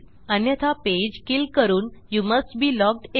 अन्यथा page kill करून you must be logged in